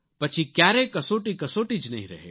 પછી ક્યારેય કસોટી કસોટી જ નહીં રહે